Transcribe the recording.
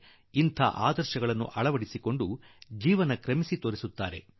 ಆದುದರಿಂದ ಇಂದಿನ ಪೀಳಿಗೆಯಲ್ಲೂ ಕೆಲವರು ಈ ಆದರ್ಶಗಳನ್ನು ಬದುಕಿ ತೋರಿಸಿದ್ದಾರೆ